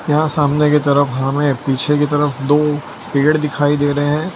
यहां सामने की तरफ हमें पीछे की तरफ दो पेड़ दिखाई दे रहे हैं।